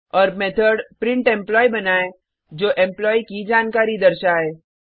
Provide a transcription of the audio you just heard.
और method print employee बनाएँ जो एम्प्लॉयी जानकारी दर्शाए